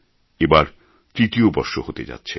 এবার তৃতীয় বর্ষ হতে যাচ্ছে